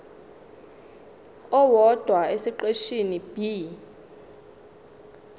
owodwa esiqeshini b